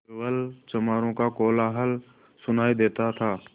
केवल चमारों का कोलाहल सुनायी देता था